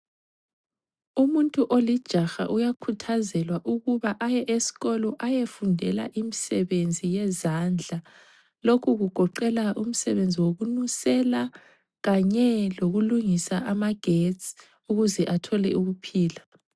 Umuntu olijaha uyakhuthazelwa ukuba aye esikolo ayefundela imisebenzi yezandla. Lokhu kugoqela umsebenzi wokununsela, kanye lokulungisa amagetsi, ukuze athole ukuphila.